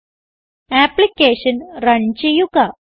application run ചെയ്യുക